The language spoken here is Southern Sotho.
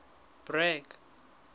bragg